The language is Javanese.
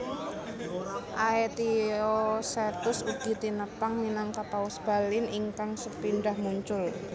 Aetiosetus ugi tinepang minangka paus Balin ingkang sepindhah muncul